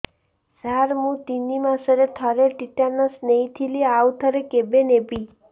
ସାର ମୁଁ ତିନି ମାସରେ ଥରେ ଟିଟାନସ ନେଇଥିଲି ଆଉ ଥରେ କେବେ ନେବି